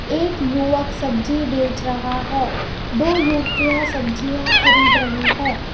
एक युवक सब्जी बेच रहा है दो युवतियां सब्जियां खरीद रही है.